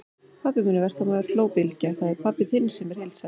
Pabbi minn er verkamaður, hló Bylgja, það er pabbi þinn sem er heildsali.